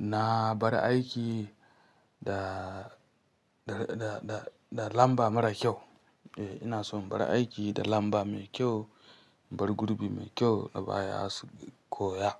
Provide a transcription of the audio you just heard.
na bar aiki da, da, da, da, da lamba mara kyau. Eh, ina son in bar aiki da lamba mai kyau, in bar gurubi mai kyau na baya su koya.